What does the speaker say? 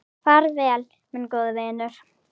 Far vel, minn góði vinur.